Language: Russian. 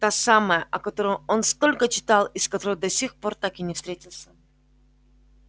та самая о которой он столько читал и с которой до сих пор так и не встретился